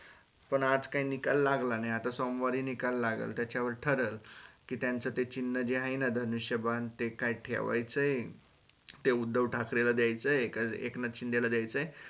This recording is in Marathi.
पण आज काय निकाल लागला नाही आता सोमवारी निकाल लागल त्याच्या वर ठरल ते त्याचं चिन्ह जे आहे ना धनुष्यबान ते काय ठेवायचं ते उद्धव ठाकरे ला द्यायचं का एकनाथ शिंदे ला द्यायचं अह